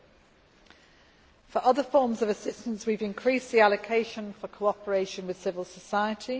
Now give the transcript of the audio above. As for other forms of assistance, we have increased the allocation for cooperation with civil society.